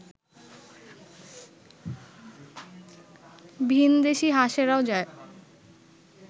ভিনদেশী হাঁসেরাও যায়